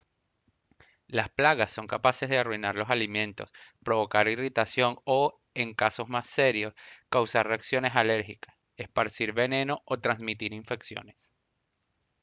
las plagas son capaces de arruinar los alimentos provocar irritación o en casos más serios causar reacciones alérgicas esparcir veneno o transmitir infecciones